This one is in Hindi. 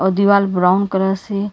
और दीवार ब्राउन कलर से--